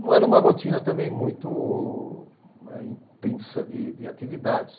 Não era uma rotina também muito eh intensa de de atividades.